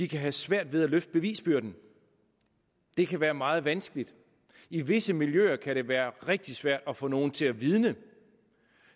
kan have svært ved at løfte bevisbyrden det kan være meget vanskeligt i visse miljøer kan det være rigtig svært at få nogen til at vidne